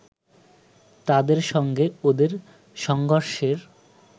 তাদের সঙ্গে ওদের সংঘর্ষের